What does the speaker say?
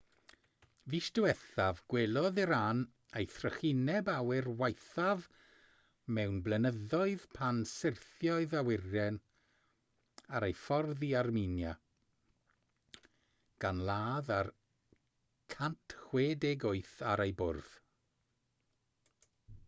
fis diwethaf gwelodd iran ei thrychineb awyr waethaf mewn blynyddoedd pan syrthiodd awyren ar ei ffordd i armenia gan ladd yr 168 ar ei bwrdd